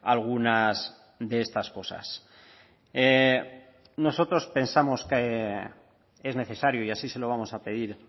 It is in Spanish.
algunas de estas cosas nosotros pensamos que es necesario y así se lo vamos a pedir